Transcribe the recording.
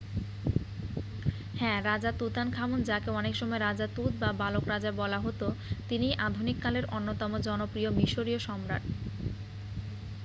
হ্যাঁ রাজা তুতানখামুন যাঁকে অনেকসময় রাজা তুত বা বালক রাজা বলা হত তিনিই আধুনিককালের অন্যতম জনপ্রিয় মিশরিয় সম্রাট